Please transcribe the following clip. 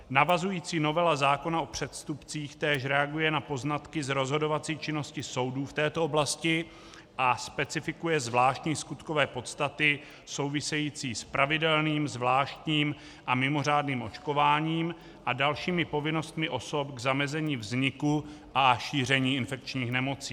Navazující novela zákona o přestupcích též reaguje na poznatky z rozhodovací činnosti soudů v této oblasti a specifikuje zvláštní skutkové podstaty související s pravidelným, zvláštním a mimořádným očkováním a dalšími povinnostmi osob k zamezení vzniku a šíření infekčních nemocí.